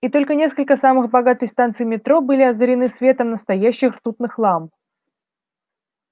и только несколько самых богатых станций метро были озарены светом настоящих ртутных ламп